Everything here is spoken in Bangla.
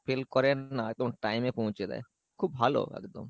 fail করে না একদম time এ পৌঁছে দেই খুব ভালো একদম।